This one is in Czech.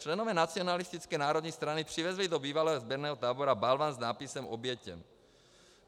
Členové nacionalistické Národní strany přivezli do bývalého sběrného tábora balvan s nápisem Obětem.